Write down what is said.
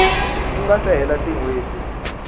ku nga se hela tinhweti